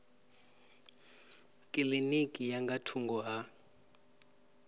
kilinikini ya nga thungo ha